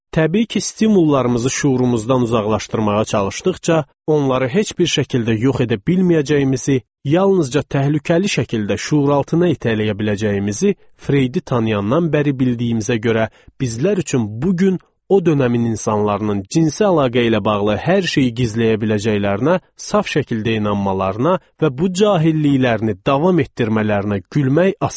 Təbii ki, stimullarımızı şüurumuzdan uzaqlaşdırmağa çalışdıqca, onları heç bir şəkildə yox edə bilməyəcəyimizi, yalnızca təhlükəli şəkildə şüuraltına itələyə biləcəyimizi Freudi tanıyandan bəri bildiyimizə görə, bizlər üçün bu gün o dönəmin insanlarının cinsi əlaqə ilə bağlı hər şeyi gizləyə biləcəklərinə saf şəkildə inanmalarına və bu cahilliklərini davam etdirmələrinə gülmək asandır.